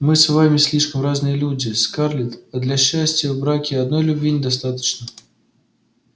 мы с вами слишком разные люди скарлетт а для счастья в браке одной любви недостаточно